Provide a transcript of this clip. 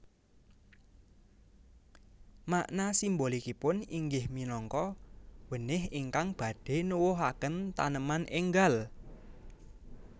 Makna simbolikipun inggih minangka wenih ingkang badhe nuwuhaken taneman enggal